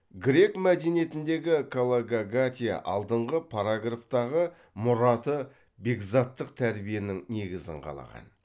грек мәдениетіндегі калогагатия алдыңғы параграфтардағы мұраты бекзаттық тәрбиенің негізін қалаған